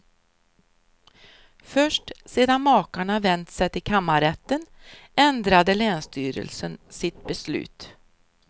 Först sedan makarna vänt sig till kammarrätten ändrade länsstyrelsen sitt beslut.